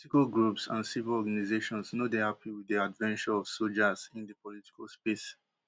political groups and civil organisations no dey happy wit di adventure of sojas in di political space